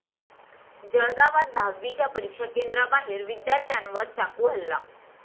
जळगावात दहावीच्या परीक्षा केंद्राबाहेर विद्यार्थ्यांवर चाकू हल्ला